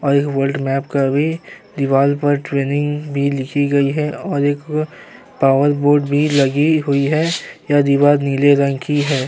और ये world map का भी दीवाल पर ट्रेनिंग भी लिखी गई है और एक पावर बोर्ड भी लगी हुई है। यह दीवार नीले रंग की है।